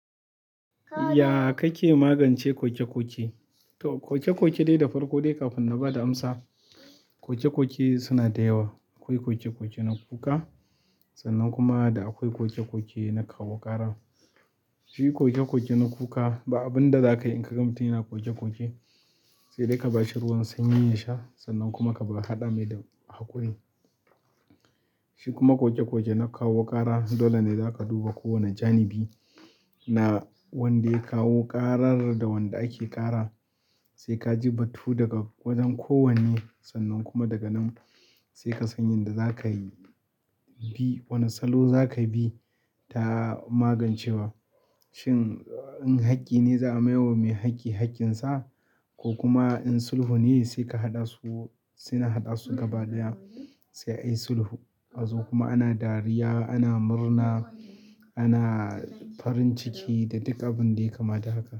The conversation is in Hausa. Ya kake magance ƙoke-ƙoke? To, ƙoke-ƙoke dai da farko dai kafin na ba da amsa, ƙoke-ƙoke suna da yawa. Akwai ƙoke-ƙoke na kuka sannan kuma akwai ƙoke-ƙoke na kawo ƙara. Shi ƙoke-ƙoke na kuka ba abun da za ka yi in ka ga mutum yana ƙoke-ƙoke, sai dai ka ba shi ruwan sanyi ya sha sannan kuma ka ba ƙa haɗa mai da haƙuri. Shi kuma ƙoke-ƙoke na kawo ƙara, dole ne za ka duba kowane janibi na wanda ya kawo ƙarar da wanda ake ƙara. Sai ka ji batu daga wajen kowanne sannan kuma daga nan sai ka san yanda za ka yi bi, wani salo za ka bi ta magancewa. Shin in haƙƙi ne za a mayar wa mai haƙƙi haƙƙinsa ko kuma in sulhu ne sai ka haɗa su, sai na haɗasu gaba ɗaya sai ai sulhu. Azo kuma ana dariya, ana murna, ana farin ciki da duk abin da yayi kama da haka.